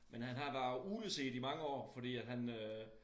Men han har været ugleset i mange år fordi at han øh